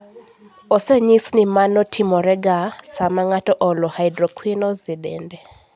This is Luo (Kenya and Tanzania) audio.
Osenyis ni mano timorega sama ng'ato olo hydroquinones e dende.